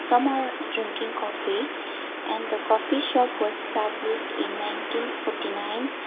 some are drinking coffee and the coffee shop was established in nineteen forty nine.